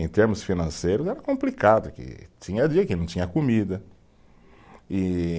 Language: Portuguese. Em termos financeiros era complicado, que tinha dia que não tinha comida, e